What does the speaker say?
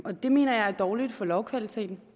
og det mener jeg er dårligt for lovkvaliteten